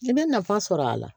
I bɛ nafa sɔrɔ a la